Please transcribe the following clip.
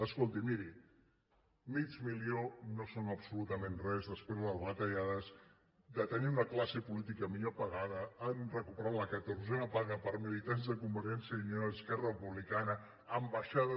escolti miri mig milió no són absolutament res després de les retallades de tenir la classe política millor pagada han recuperat la catorzena paga per a militants de convergència i unió i esquerra republicana ambaixades